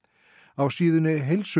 á síðunni